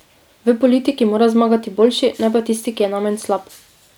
V politiki mora zmagati boljši, ne pa tisti, ki je najmanj slab.